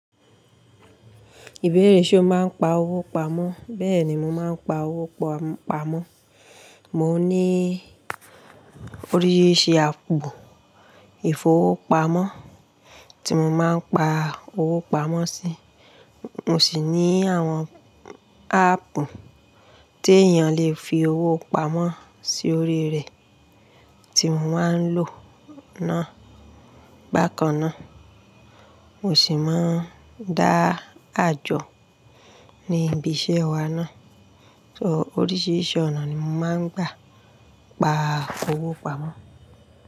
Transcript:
Ìbéèrè ṣe o máa ń pa owó pamọ́? Bẹ́ẹ̀ ni mo máa ń pa owó pamọ́. Mo ní oríṣi àpu ifowopamo tí mo máa ń pa owó pamọ́ sí. Mo sì ní àwọn áàpù tí èèyàn lè fi owó pamọ́ sí orí rẹ̀ tí mo máa ń lò náà bákan náà. Mo sì máa ń dá àjọ ní ibi isẹ́ wa náà. So oríṣiríṣi ọ̀nà ni mo máa ń gbà pa owó pamọ́.